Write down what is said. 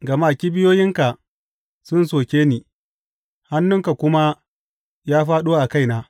Gama kibiyoyinka sun soke ni, hannunka kuma ya fāɗo a kaina.